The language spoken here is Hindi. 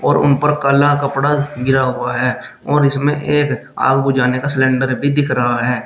उन पर काला कपड़ा गिरा हुआ है और इसमें एक आग बुझाने का सिलेंडर भी दिख रहा है।